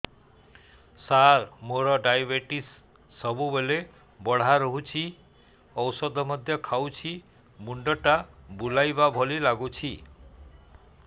ସାର ମୋର ଡାଏବେଟିସ ସବୁବେଳ ବଢ଼ା ରହୁଛି ଔଷଧ ମଧ୍ୟ ଖାଉଛି ମୁଣ୍ଡ ଟା ବୁଲାଇବା ଭଳି ଲାଗୁଛି